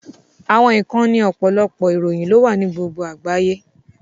Àwọn ìkànnì ọ̀pọ̀lọpọ̀ ìròyìn ló wà ní gbogbo àgbáyé